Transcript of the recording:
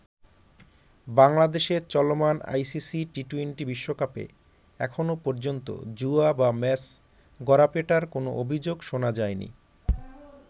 বাংলাদেশে চলমান ICC T twenty বিশ্বকাপে এখনও পর্যন্ত জুয়া বা ম্যাচ গড়াপেটার কোন অভিযোগ শোনা যায়নি।